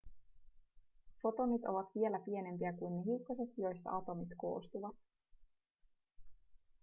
fotonit ovat vielä pienempiä kuin ne hiukkaset joista atomit koostuvat